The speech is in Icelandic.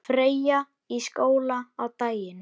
Freyja í skóla á daginn.